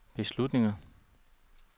beslutninger